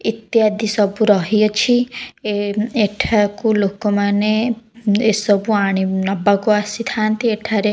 ଇତ୍ୟାଦି ସବୁ ରହି ଅଛି । ଏଁ ମ୍ ଏଠାକୁ ଲୋକମାନେ ଏସବୁ ଆଣି ନବାକୁ ଆସିଥାନ୍ତି ଏଠାରେ --